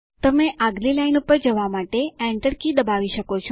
તમે આગલી લાઈન પર જવા માટે એન્ટર કી દબાવી શકો છો